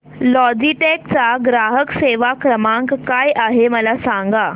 Logitech चा ग्राहक सेवा क्रमांक काय आहे मला सांगा